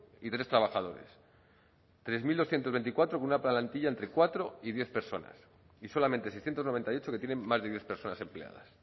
y tres trabajadores tres mil doscientos veinticuatro una plantilla entre cuatro y diez personas y solamente seiscientos noventa y ocho que tienen más de diez personas empleadas